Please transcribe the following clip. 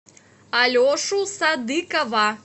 алешу садыкова